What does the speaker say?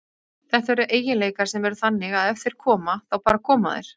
Þetta eru eiginleikar sem eru þannig að ef þeir koma, þá bara koma þeir.